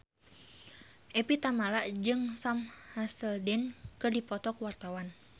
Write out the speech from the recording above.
Evie Tamala jeung Sam Hazeldine keur dipoto ku wartawan